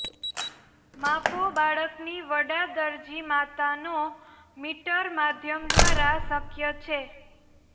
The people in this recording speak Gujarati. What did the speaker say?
માપો બાળકની વડા દરજી માતાનો મીટર માધ્યમ દ્વારા શક્ય છે